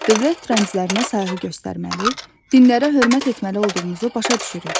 Dövlət rəmzlərinə sayğı göstərməli, dillərə hörmət etməli olduğumuzu başa düşürük.